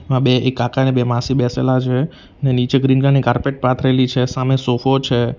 આ બે એક કાકા અને બે માસી બેસેલા છે ને નીચે ગ્રીન કલર ની કાર્પેટ પાથરેલી છે સામે સોફો છે.